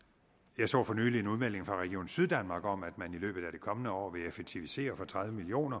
jeg så for nylig en udmelding fra region syddanmark om at man i løbet af det kommende år vil effektivisere for tredive million